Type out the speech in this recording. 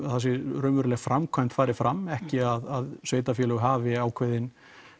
raunveruleg framkvæmd fari fram ekki að sveitarfélög hafi